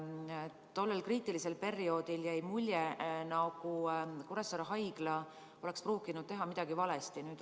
Tollel kriitilisel perioodil jäi mulje, et Kuressaare Haigla ei teinud midagi valesti.